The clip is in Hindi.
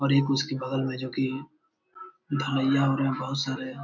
और ये उसके बगल में है जो की दवाइयाँ और बहुत सारे --